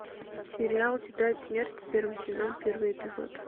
сериал тетрадь смерти первый сезон первый эпизод